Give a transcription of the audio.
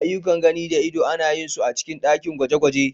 Aiyukan gani da ido ana yin su a cikin ɗakin gwaje-gwaje.